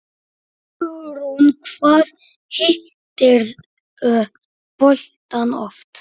Hugrún: Hvað hittirðu boltann oft?